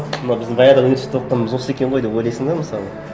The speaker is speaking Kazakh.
мынау біздің баяғыда университетте оқығанымыз осы екен ғой деп ойлайсың да мысалы